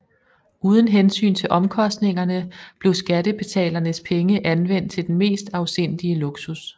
Uden hensyn til omkostningerne blev skattebetalernes penge anvendt til den mest afsindige luksus